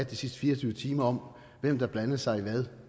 de sidste fire og tyve timer om hvem der blandede sig i hvad